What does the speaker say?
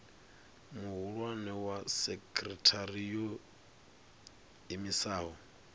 muhulwane wa sekithara yo iimisaho